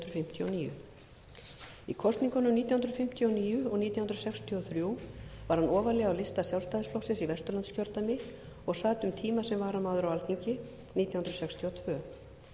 og níu í kosningunum nítján hundruð fimmtíu og níu og nítján hundruð sextíu og þrjú var hann ofarlega á lista sjálfstæðisflokksins í vesturlandskjördæmi og sat um tíma sem varamaður á alþingi nítján hundruð sextíu og tvö